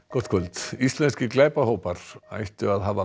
gott kvöld íslenskir glæpahópar ættu að hafa